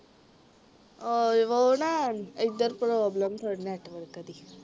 ਅ ਵੋ ਨਾ ਇਧਰ ਪ੍ਰੋਬਲਮ ਥੋੜੀ ਨੈੱਟਵਰਕ ਦੀ